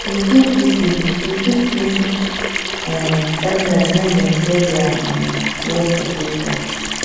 we fit visit we fit visit um elders make dem share their um words of wisdom